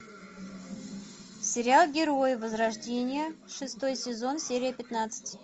сериал герои возрождение шестой сезон серия пятнадцать